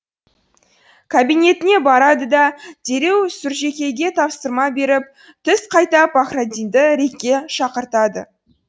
кабинетіне барады да дереу сүржекейге тапсырма беріп түс қайта пахраддинді рик ке шақыртады